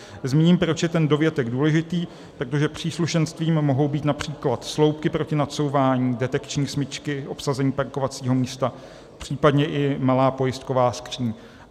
Zmíním, proč je ten dovětek důležitý - protože příslušenstvím mohou být například sloupky proti nacouvání, detekční smyčky, obsazení parkovacího místa, případně i malá pojistková skříň.